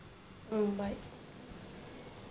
உம் பாய்